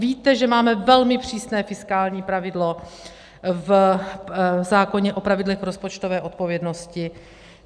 Víte, že máme velmi přísné fiskální pravidlo v zákoně o pravidlech rozpočtové odpovědnosti.